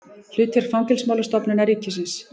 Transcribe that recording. Hlutverk Fangelsismálastofnunar ríkisins.